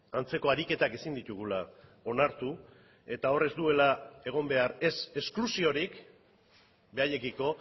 antzeko ariketak ezin ditugula onartu eta hor ez duela egon behar ez esklusiorik beraiekiko